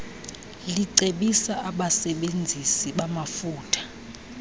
licebisa abasebenzisi bamafutha